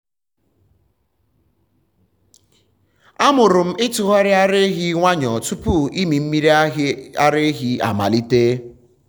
amụrụ m ịtụgharị ara ehi nwayọọ tupu ịmị mmiri ara ehi amalite.